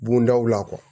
Bondaw la